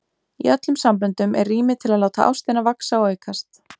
Í öllum samböndum er rými til að láta ástina vaxa og aukast.